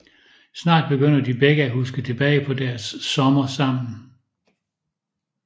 Snart begynder de begge at huske tilbage på deres sommer sammen